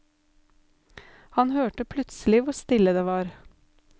Han hørte plutselig hvor stille det var.